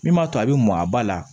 Min b'a to a bɛ mɔn a ba la